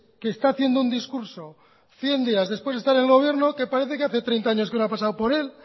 que está haciendo un discurso cien días después de estar el gobierno que parece que hace treinta años que no ha pasado por él